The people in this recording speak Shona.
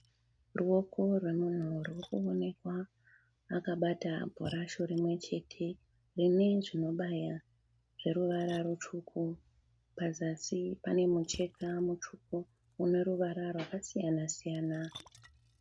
Ruoko rwemunhu ruri kuonekwa akabata bhurasho rimwe chete rine zvinobaya zveruvara rutsvuku. Pazasi pane mucheka mutsvuku une ruvara rwakasiyana siyana.